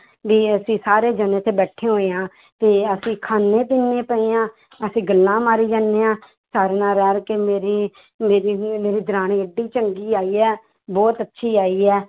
ਵੀ ਅਸੀਂ ਸਾਰੇ ਜਾਣੇ ਉੱਥੇ ਬੈਠੇ ਹੋਏ ਹਾਂ, ਤੇ ਅਸੀਂ ਖਾਂਦੇ ਪੀਂਦੇ ਪਏ ਹਾਂ ਅਸੀਂ ਗੱਲਾਂ ਮਾਰੀ ਜਾਂਦੇ ਹਾਂ ਨਾਲ ਰਲ ਕੇ ਮੇਰੀ ਮੇਰੀ ਵੀ ਮੇਰੀ ਦਰਾਣੀ ਇੱਡੀ ਚੰਗੀ ਆਈ ਹੈ ਬਹੁਤ ਅੱਛੀ ਆਈ ਹੈ